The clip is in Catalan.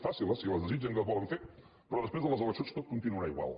facin les si les desitgen i les volen fer però després de les eleccions tot continuarà igual